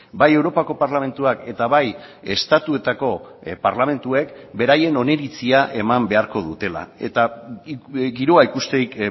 bai europako parlamentuak eta bai estatuetako parlamentuek beraien oniritzia eman beharko dutela eta giroa ikusterik